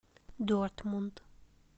дортмунд